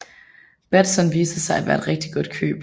Batson viste sig at være et rigtig godt køb